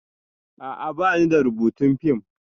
A'a, ba ni da rubutun fim